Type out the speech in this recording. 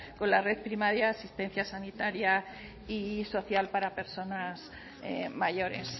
con la red primaria de sanitaria y social para personas mayores